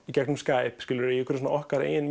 í gegnum Skype í okkar eigin